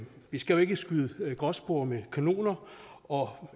vi skal jo ikke skyde gråspurve med kanoner og